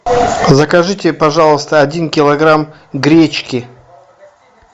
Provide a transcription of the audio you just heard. закажите пожалуйста один килограмм гречки